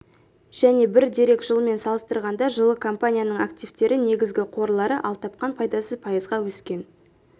және бір дерек жылмен салыстырғанда жылы компанияның активтері негізгі қорлары ал тапқан пайдасы пайызға өскен